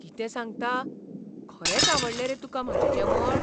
कितें सांगता? खरेंच आवडलें रे तुका म्हाजें जेवण?